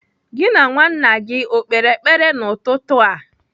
Gị na nwa nna gị o kpere ekpere n'ụtụtụ a?